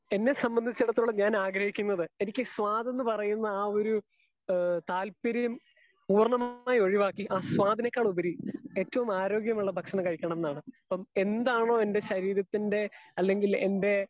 Speaker 2 എന്നെ സംബന്ധിച്ചിടത്തോളം ഞാൻ ആഗ്രഹിക്കുന്നത് എനിക്ക് സ്വത് എന്ന് പറയുന്ന ആ ഒരു ഏഹ് താല്പര്യം പൂർണമായി ഒഴിവാക്കി ആ സ്വാതിനേക്കാൾ ഉപരി ഏറ്റവും ആരോഗ്യ മുള്ള ഭക്ഷണം കഴിക്കണമെന്നാണ്. അപ്പൊ എന്താണോ എന്റെ ശരീരത്തിന്റെ അല്ലെങ്കിൽ എന്റെ